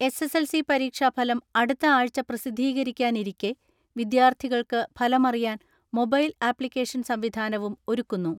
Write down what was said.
SSLC പരീക്ഷാഫലം അടുത്ത ആഴ്ച പ്രസിദ്ധീകരിക്കാനിരിക്കെ വിദ്യാർത്ഥികൾക്ക് ഫലമറിയാൻ മൊബൈൽ ആപ്ലിക്കേഷൻ സംവിധാനവും ഒരുക്കുന്നു.